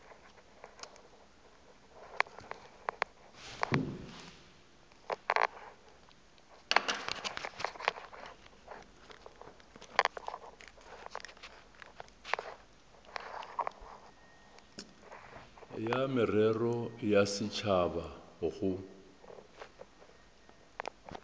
ya merero ya setšhaba go